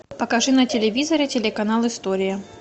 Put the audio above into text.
покажи на телевизоре телеканал история